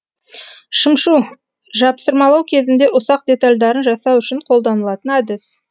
шымшу жапсырмалау кезінде ұсақ детальдарын жасау үшін қолданылатын әдіс